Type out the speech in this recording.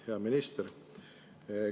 Hea minister.